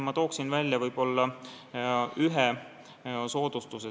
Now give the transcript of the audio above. Ma toon välja ühe soodustuse.